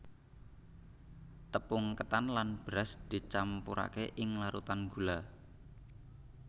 Tepung ketan lan beras dicampurake ing larutan gula